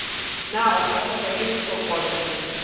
na o kgathatswa ke lesokolla